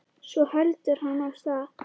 Svo heldur hann af stað.